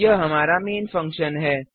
यह हमारा main functions है